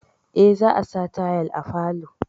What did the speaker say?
Eh, za a sa tayal à falo.